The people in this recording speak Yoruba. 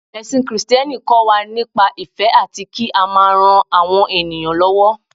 ẹsìn Kristẹni kọ wa nípa ìfẹ ati ki a ma ran àwọn ènìyàn lówó